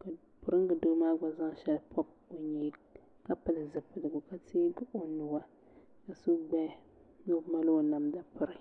ka piringa doo maa gba zaŋ shɛli pɔbi ka pili zipiligu ka teegi o nuu ka so gbaya ni o mali o namda piri.